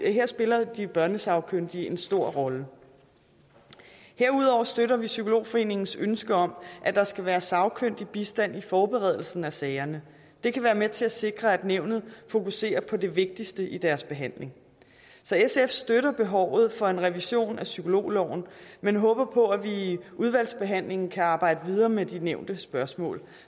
her spiller de børnesagkyndige en stor rolle herudover støtter vi psykologforeningens ønske om at der skal være sagkyndig bistand i forberedelsen af sager det kan være med til at sikre at nævnet fokuserer på det vigtigste i deres behandling så sf ser behovet for en revision af psykologloven men håber på at vi i udvalgsbehandlingen kan arbejde videre med de nævnte spørgsmål